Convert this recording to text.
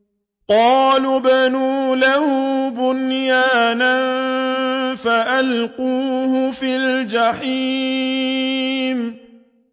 قَالُوا ابْنُوا لَهُ بُنْيَانًا فَأَلْقُوهُ فِي الْجَحِيمِ